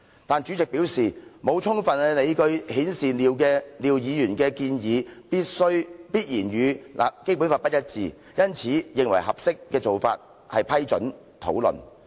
但主席表示，沒有充分理據顯示廖議員的建議，必然與《基本法》不一致，因此認為合適做法是批准討論。